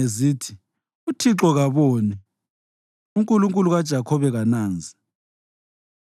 Zithi, “ UThixo kaboni; uNkulunkulu kaJakhobe kananzi.”